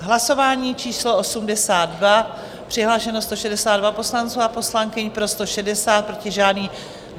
Hlasování číslo 82, přihlášeno 162 poslanců a poslankyň, pro 160, proti žádný.